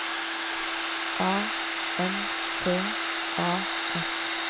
A N T A S